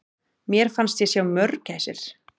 Mér fannst ég sjá mörgæsir!